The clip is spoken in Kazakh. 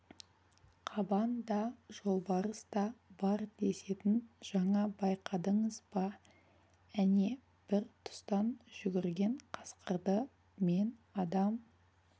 қабан да жолбарыс та бар десетін жаңа байқадыңыз ба әне бір тұстан жүгірген қасқырды мен адам